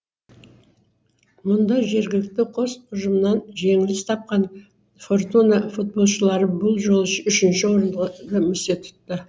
мұнда жергілікті қос ұжымнан жеңіліс тапқан фортуна футболшылары бұл жолы үш үшінші орынды місе тұтты